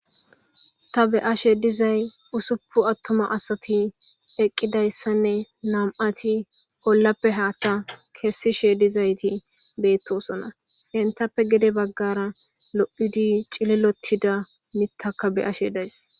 Ta beyashe dizay usuppu attuma asati eqqidayssanne nam'ati ollappe haatta keessishe dizayti beettosona hentappe gede baggara lo'udi cilelotida mittaka beyashe days.